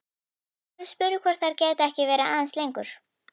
Kári spurði hvort þeir gætu ekki verið aðeins lengur.